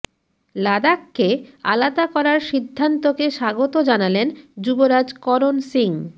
লাদাখকে আলাদা করার সিদ্ধান্তকে স্বাগত জানালেন যুবরাজ করণ সিং